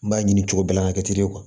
N b'a ɲini cogo bɛɛ la ka kɛ ten de kuwa